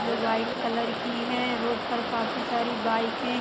जो white colour की है। रोड पर काफी सारी बाइकें --